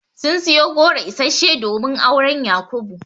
Sun siyo goro isasshe domin auren Yakubu.